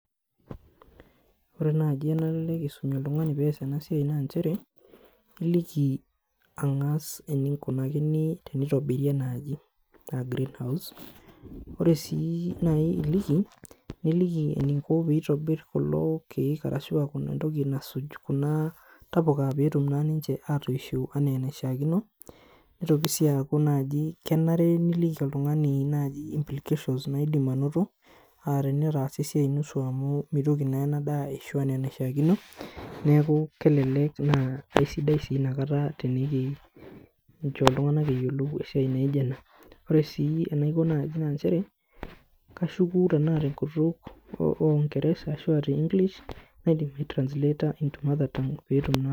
Ore nai enanare pisum oltungani peyiolou ena na iliki angas enikunakini enitobiri enaaji aa greenhouse ore si nai iliki niliki eniko peitobir kulo kiek ashubentoki nasuj kuna tapuka peitobir petum ninche atoisho anaa enishaakino atenitaasa esiai nusu amu mitoki enadaa aas ena enishaakino kelelek na kesidai enikincho ltunganak eyiolou esiai naijo ena ore si enikinko na nchere kashukubtenkutuk orngersa naidim ai translater petum naa.